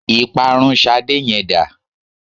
Ìparun Ṣadé yẹn dá?